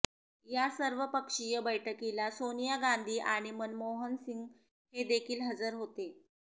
या सर्वपक्षीय बौठकीला सोनिया गांधी आणि मनमोहन सिंग हेदेखील हजर होते